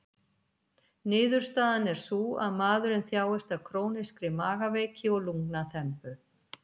Niðurstaðan er sú, að maðurinn þjáist af krónískri magaveiki og lungnaþembu.